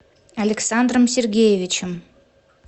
александром сергеевичем